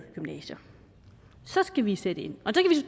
gymnasier så skal vi sætte ind